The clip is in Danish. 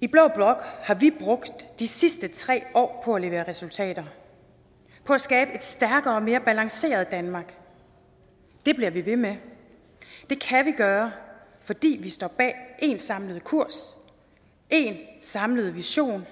i blå blok har vi brugt de sidste tre år på at levere resultater på at skabe et stærkere og mere balanceret danmark det bliver vi ved med det kan vi gøre fordi vi står bag én samlet kurs én samlet vision